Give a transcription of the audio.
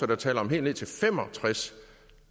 der taler om helt ned til fem og tres